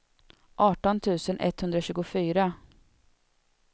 arton tusen etthundratjugofyra